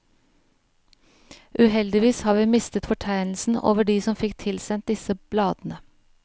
Uheldigvis har vi mistet fortegnelsen over de som fikk tilsendt disse bladene.